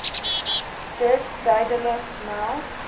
dus duidelik meld